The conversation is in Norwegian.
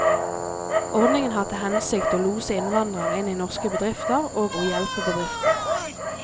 Ordningen har til hensikt å lose innvandrere inn i norske bedrifter og å hjelpe bedriftene.